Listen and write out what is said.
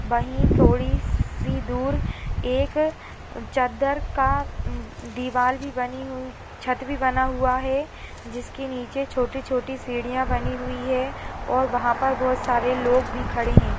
वही थोड़ी सी दूर एक चद्दर का दीवाल भी बनी हुई छत भी बना हुआ है जिसके नीचे छोटी-छोटी सीढ़ियां बनी हुई है और वहाँ पर बहोत सारे लोग भी खड़े हैं।